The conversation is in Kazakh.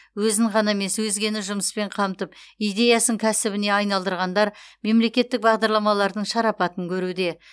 өзін ғана емес өзгені жұмыспен қамтып идеясын кәсібіне айналдырғандар мемлекеттік бағдарламалардың шарапатын көруде